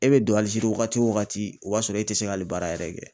E bɛ don Alizeiri wagati o wagati, o b'a sɔrɔ e tɛ se ka hali baara yɛrɛ kɛ.